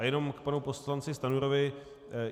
A jenom k panu poslanci Stanjurovi.